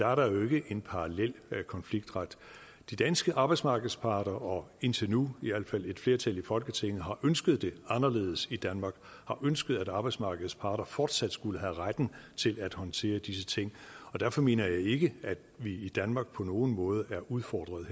er der jo ikke en parallel konfliktret de danske arbejdsmarkedsparter og indtil nu i al fald et flertal i folketinget har ønsket det anderledes i danmark har ønsket at arbejdsmarkedets parter fortsat skulle have retten til at håndtere disse ting derfor mener jeg ikke at vi i danmark på nogen måde er udfordret